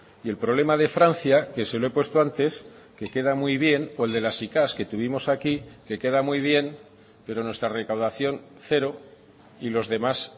y el problema de francia que se lo he puesto antes que queda muy bien o el de las sicav que tuvimos aquí que queda muy bien pero nuestra recaudación cero y los demás